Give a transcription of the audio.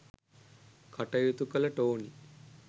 කටයුතු කළ ටෝනි